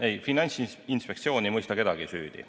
Ei, Finantsinspektsioon ei mõista kedagi süüdi.